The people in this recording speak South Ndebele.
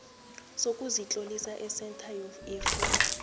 sokuzitlolisa esentha yefundo